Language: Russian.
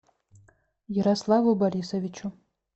ярославу борисовичу